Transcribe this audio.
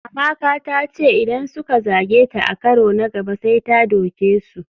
Amaka ta ce idan suka zage ta a karo na gaba sai ta doke su.